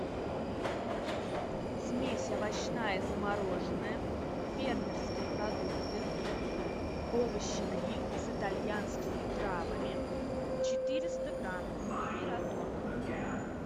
смесь овощная замороженная фермерские продукты овощи гриль с итальянскими травами четыреста грамм мираторг